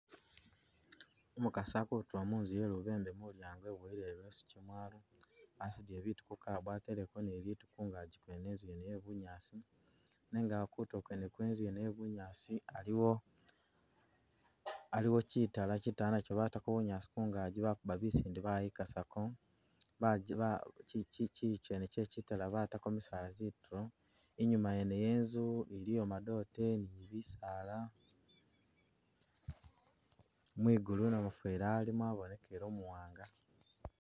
Umukasi akutuula munzu ye lubembe mulyango eboyele i'leesu kyemwalo, asudile bitu mu kabbo ateleko ni bitu kungaji kwene, inzu yene ye bunyaasi nenga awo kutulo kwene kwe inzu yene ye bunyaasi aliwo, aliwo kyitaala kyitaala nakyo batako bunyaasi kungaji bakubba bisinde bayikasako baje ba chi chi chi chiyi kyene kye kyitaala batako misaala zitulo, inyuma yene yenzu iliyo madote ni bisaala, mwigulu namufeli alimo abonekele umuwanga